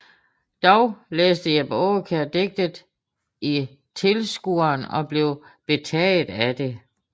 Dog læste Jeppe Aakjær digtet i Tilskueren og blev betaget af det